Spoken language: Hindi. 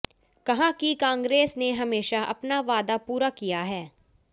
कहा कि कांग्रेस ने हमेशा अपना वादा पूरा किया है